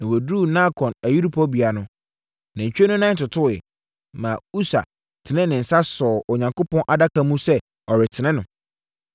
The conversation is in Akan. Na wɔduruu Nakon ayuporobea no, nantwie no nan totoeɛ, maa Usa tenee ne nsa sɔɔ Onyankopɔn Adaka no mu sɛ ɔretene no.